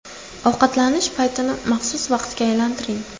Ovqatlanish paytini maxsus vaqtga aylantiring.